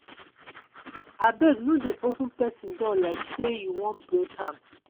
abeg no dey open pesin door like sey you wan break am.